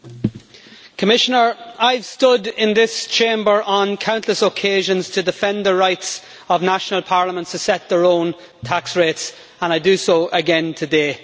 Madam President, I've stood in this Chamber on countless occasions to defend the rights of national parliaments to set their own tax rates, and I do so again today.